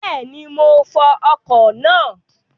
Bẹ́ẹ̀ni, mo fọ ọkọ̀ náà